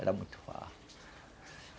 Era muito fácil...